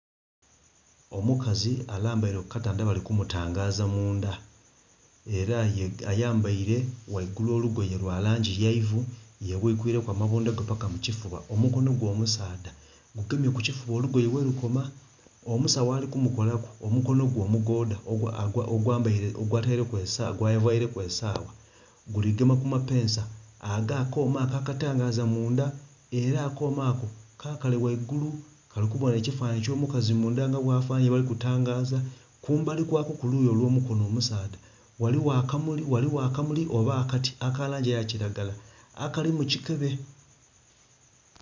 Omukazi alambaile ku katanda bali kumutangaza mundha ela ayambaile waigulu olugoye lwa langi ya ivu. Yebwiikwiileku amabunda ge paka ku kifuba omukono gwe omusaadha gugemye ku kifuba olugoye welukoma. Omusagho ali kumukolaku omukono gwe omugoodha gwavaileku esawa guli gema ku mapeesa ag'akooma ako akatangaza mundha ela akooma ako kakale waigulu kali kubona ekifanhanhi eky'omukazi mundha nga bwafanana yebali kutangaza. Kumbali kwako ku luuyi olw'omukono omusaadha ghaligho akamuli oba akati aka langi eya kilagala akali mu kikebe